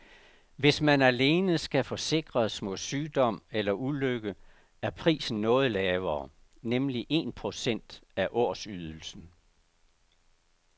Hvis man alene skal forsikres mod sygdom eller ulykke er prisen noget lavere, nemlig en procent af årsydelsen.